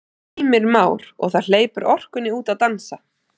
Heimir Már: Og það hleypur orkunni út að dansa?